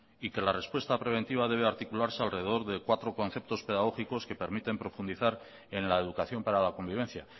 y que la respuesta preventiva debe articularse alrededor de cuatro conceptos pedagógicos que permiten profundizar en la educación para la convivencia